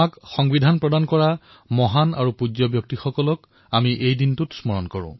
সেইদিনা আমি সেই মহান বিভূতিসকলক স্মৰণ কৰোঁ যিয়ে আমাক সংবিধান প্ৰদান কৰিলে